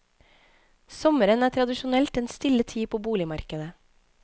Sommeren er tradisjonelt en stille tid på boligmarkedet.